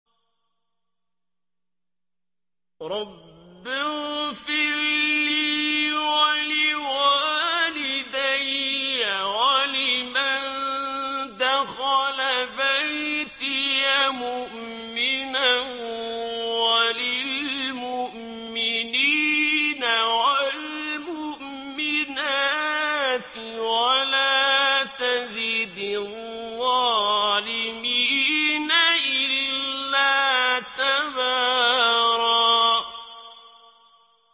رَّبِّ اغْفِرْ لِي وَلِوَالِدَيَّ وَلِمَن دَخَلَ بَيْتِيَ مُؤْمِنًا وَلِلْمُؤْمِنِينَ وَالْمُؤْمِنَاتِ وَلَا تَزِدِ الظَّالِمِينَ إِلَّا تَبَارًا